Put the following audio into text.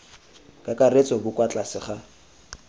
kakaretso bo kwa tlase ga